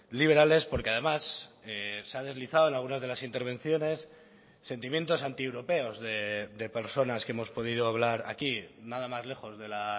liberales porque además se ha deslizado en algunas de las intervenciones sentimientos antieuropeos de personas que hemos podido hablar aquí nada más lejos de la